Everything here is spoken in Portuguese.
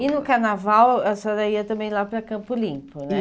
E no carnaval a senhora ia também lá para Campo Limpo, né? Ia